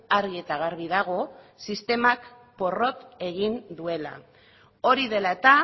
argi eta garbi dago sistemak porrot egin duela hori dela eta